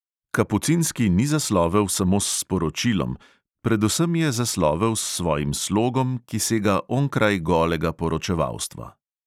Kapucinski ni zaslovel samo s sporočilom, predvsem je zaslovel s svojim slogom, ki sega onkraj golega poročevalstva.